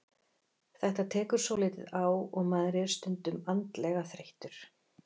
Þetta tekur svolítið á og maður er stundum andlega þreyttur.